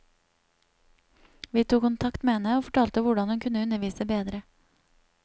Vi tok kontakt med henne og fortalte hvordan hun kunne undervise bedre.